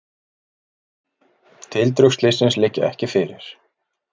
Tildrög slyssins liggja ekki fyrir.